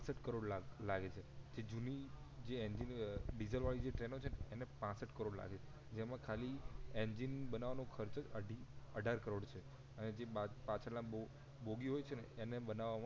પાંસઠ કરોડ લાખ લાગે છે જે જૂની જે એન્જિન જે ડીજલ વાળી જે ટ્રેનો છે એને પાંસઠ કરોડ લાગે છે જેમાં ખાલી એન્જિન બનવા નો ખર્ચ જ અઢી અઢાર કરોડ છે અને જે પછાડ ના બો બોગી હોય છે ને એને બનવામાં